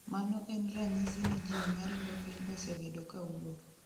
mano en ranyisi ni jii maringo piny osebedo kawuok